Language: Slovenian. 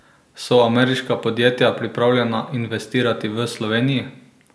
So ameriška podjetja pripravljena investirati v Sloveniji?